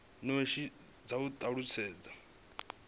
notsi dza u talutshedza zwo